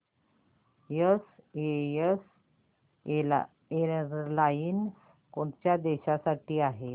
SAS airlines कोणत्या देशांसाठी आहे